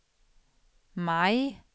maj